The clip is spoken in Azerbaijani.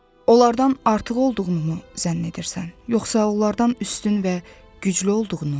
Onlardan artıq olduğunu mu zənn edirsən, yoxsa onlardan üstün və güclü olduğunu mu?